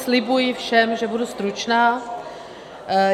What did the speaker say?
Slibuji všem, že budu stručná.